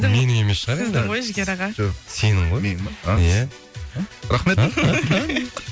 менің емес шығар енді сіздің ғой жігер аға жоқ сенің ғой менің бе иә рахмет